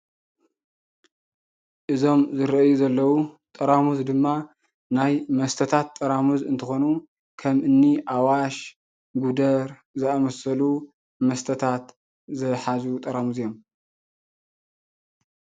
እዞም ዝርአዩ ዘለዉ ጠራሙዝ ድማ ናይ መስተታት ጠራሙዝ እንትኾኑ ከም እኒ ኣዋሽ፣ ጉደር ዝኣምሰሉ መስተታት ዝሓዙ ጠራሙዝ እዮም፡፡